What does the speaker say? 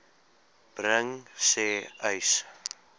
bring sê uys